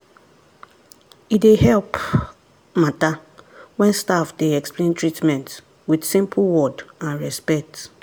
e dey help matter when staff dey explain treatment with simple word and respect.